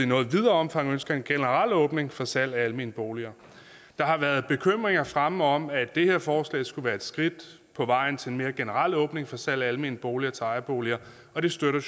noget videre omfang ønsker en generel åbning for salg af almene boliger der har været bekymringer fremme om at det her forslag skulle være et skridt på vejen til en mere generel åbning for salg af almene boliger til ejerboliger og det støtter